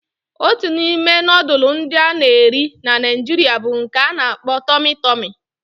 Otu n'ime nudulu ndi ana eri na naijiria bu nke a n'akpo "Tummy tummy"